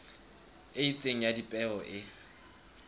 e itseng ya dipeo e